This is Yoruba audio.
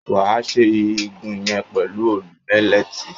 Wà á ṣe igun yẹn pẹ̀lú òòlù mílẹ́tì